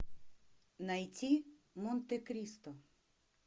найти монте кристо